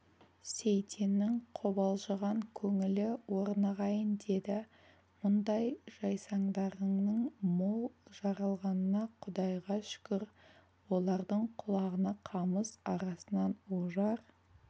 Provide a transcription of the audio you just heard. сейтеннің қобалжыған көңілі орнығайын деді мұндай жайсаңдарыңның мол жаралғанына құдайға шүкір олардың құлағына қамыс арасынан ожар